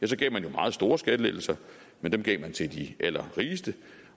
jo gav meget store skattelettelser men dem gav man til de allerrigeste